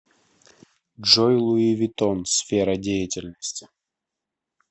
джой луи виттон сфера деятельности